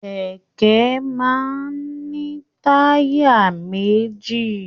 Kẹkẹ máa n ni taya méjì.